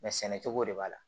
Mɛ sɛnɛ cogo de b'a la